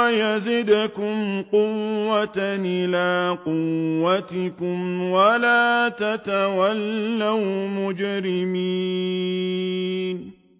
وَيَزِدْكُمْ قُوَّةً إِلَىٰ قُوَّتِكُمْ وَلَا تَتَوَلَّوْا مُجْرِمِينَ